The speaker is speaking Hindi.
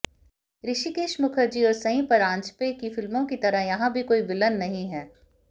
ऋषिकेश मुखर्जी और सई परांजपे की फिल्मों की तरह यहां भी कोई विलन नहीं है